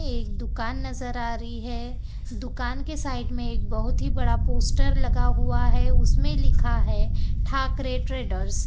एक दुकान नजर आ रही है दुकान के साइड में एक बहुत ही बड़ा पोस्टर लगा हुआ है उसमें लिखा है ठाकरे ट्रेडर्स ।